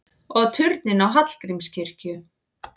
Og turninn á Hallgrímskirkju!